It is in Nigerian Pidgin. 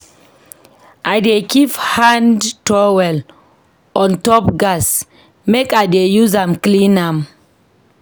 I dey keep hand towel on top gas make I dey use am clean am.